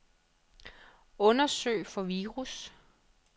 Undersøg for virus.